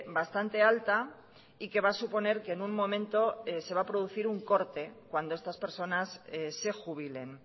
bastante alta y que va a suponer que en un momento se va a producir un corte cuando estas personas se jubilen